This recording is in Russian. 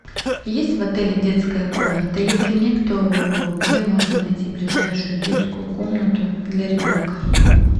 есть в отеле детская комната если нет то где можно найти ближайшую детскую комнату для ребенка